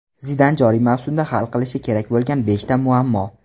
Zidan joriy mavsumda hal qilishi kerak bo‘lgan beshta muammo !